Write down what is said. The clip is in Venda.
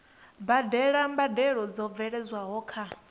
badela mbadelo dzo bveledzwaho nga